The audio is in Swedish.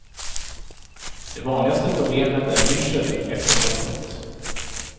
Det vanligaste problemet är yrsel efter hoppet.